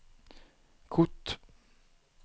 kort